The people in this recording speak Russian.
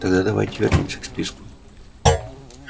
тогда давайте вернёмся к списку